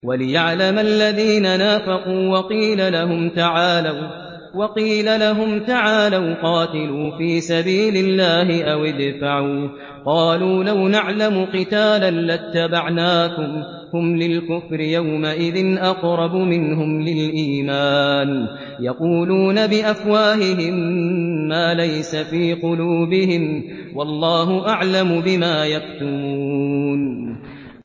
وَلِيَعْلَمَ الَّذِينَ نَافَقُوا ۚ وَقِيلَ لَهُمْ تَعَالَوْا قَاتِلُوا فِي سَبِيلِ اللَّهِ أَوِ ادْفَعُوا ۖ قَالُوا لَوْ نَعْلَمُ قِتَالًا لَّاتَّبَعْنَاكُمْ ۗ هُمْ لِلْكُفْرِ يَوْمَئِذٍ أَقْرَبُ مِنْهُمْ لِلْإِيمَانِ ۚ يَقُولُونَ بِأَفْوَاهِهِم مَّا لَيْسَ فِي قُلُوبِهِمْ ۗ وَاللَّهُ أَعْلَمُ بِمَا يَكْتُمُونَ